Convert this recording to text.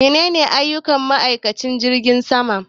Menene aiyukan ma'aikanci jirgin sama